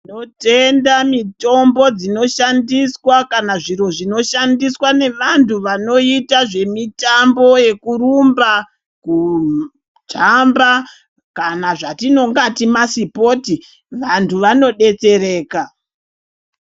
Tinotenda mitombo dzaka dzinoshandiswa kana zvinoshandiswa nevantu vanoita mutambo yekurumba kujamba kana zvatinonga ti masipoti vantu vanodetsereka.